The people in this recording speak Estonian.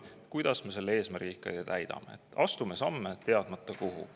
Aga kuidas me ikkagi selle eesmärgi täidame, kui me astume samme, teadmata kuhu?